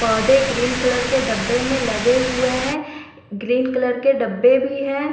पौधे green colour के डब्बे में लगे हुए हैं ग्रीन कलर के डब्बे भी हैं।